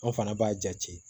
An fana b'a jate